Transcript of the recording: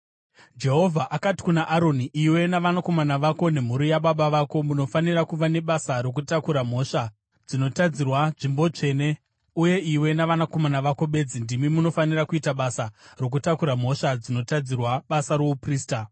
Jehovha akati kuna Aroni, “Iwe, navanakomana vako nemhuri yababa vako munofanira kuva nebasa rokutakura mhosva dzinotadzirwa nzvimbo tsvene, uye iwe navanakomana vako bedzi ndimi munofanira kuita basa rokutakura mhosva dzinotadzirwa basa rouprista.